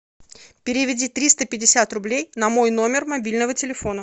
переведи триста пятьдесят рублей на мой номер мобильного телефона